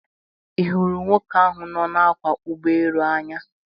I huru nwoke ahu no na akwo Ugbo elu a Anya?